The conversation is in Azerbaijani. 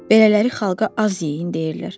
Belələri xalqa az yeyin deyirlər.